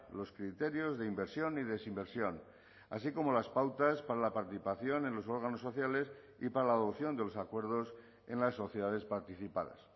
los criterios de inversión y desinversión así como las pautas para la participación en los órganos sociales y para la adopción de los acuerdos en las sociedades participadas